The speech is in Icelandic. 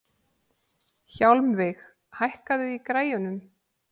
Hjálmveig, hækkaðu í græjunum.